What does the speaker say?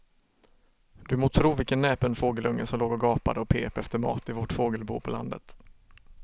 Du må tro vilken näpen fågelunge som låg och gapade och pep efter mat i vårt fågelbo på landet.